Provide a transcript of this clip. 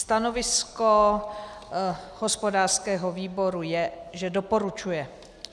Stanovisko hospodářského výboru je, že doporučuje.